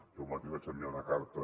jo mateix vaig enviar una carta